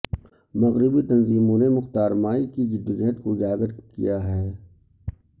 مغربی تنظیموں نے مختار مائی کی جد و جہد کو اجاگر کیا ہے